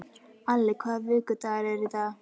Alli, hvaða vikudagur er í dag?